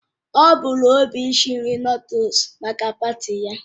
O bu n'obi isi Nụ́dúlsu maka paati ya